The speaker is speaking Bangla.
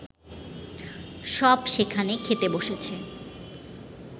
সব সেখানে খেতে বসেছে